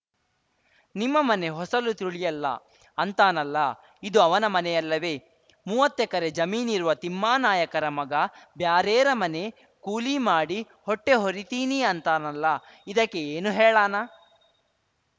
ನಿಮ್ಮಮನೆ ಹೊಸಲು ತುಳಿಯಲ್ಲ ಅಂತಾನಲ್ಲ ಇದು ಅವನ ಮನೆಯಲ್ಲವೆ ಮುವ್ವತ್ತೆಕರೆ ಜಮೀನಿರುವ ತಿಮ್ಮಾನಾಯಕರ ಮಗ ಬ್ಯಾರೇರ ಮನೆ ಕೂಲಿಮಾಡಿ ಹೊಟ್ಟೆಹೊರಿತೀನಿ ಅಂತಾನಲ್ಲ ಇದಕ್ಕೆ ಏನು ಹೇಳಾನ